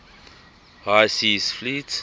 high seas fleet